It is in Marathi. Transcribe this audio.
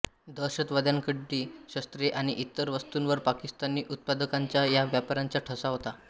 दहशतवाद्यांकडली शस्त्रे आणि इतर वस्तूंवर पाकिस्तानी उत्पादकांचा वा व्यापाऱ्यांचा ठसा होता